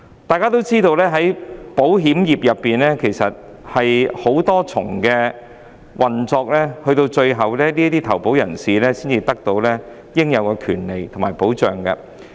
大家也知道，保險業涉及多重運作，投保人須經過繁複的程序，最終才得享應有的權利和保障。